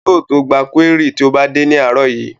Yóò gba kúérì tó bá dé ní àárọ̀ yìí